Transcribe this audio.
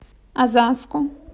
озаску